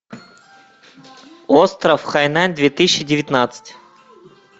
остров хайнань две тысячи девятнадцать